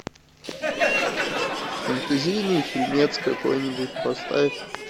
фантазийный фильмец какой нибудь поставь